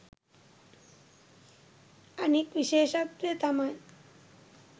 අනෙක් විශේෂත්වය තමයි